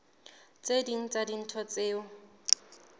tse ding tsa dintho tseo